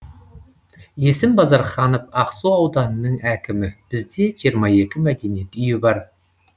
есім базарханов ақсу ауданының әкімі бізде жиырма екі мәдениет үйі бар